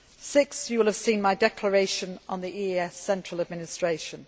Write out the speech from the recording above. Sixth, you will have seen my Declaration on the EAS central administration.